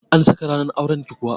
An saka ranar auran ki kuwa?